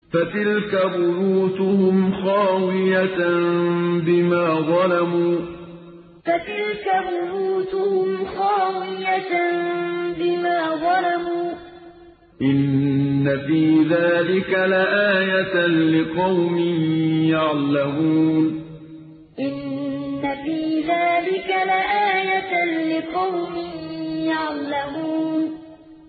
فَتِلْكَ بُيُوتُهُمْ خَاوِيَةً بِمَا ظَلَمُوا ۗ إِنَّ فِي ذَٰلِكَ لَآيَةً لِّقَوْمٍ يَعْلَمُونَ فَتِلْكَ بُيُوتُهُمْ خَاوِيَةً بِمَا ظَلَمُوا ۗ إِنَّ فِي ذَٰلِكَ لَآيَةً لِّقَوْمٍ يَعْلَمُونَ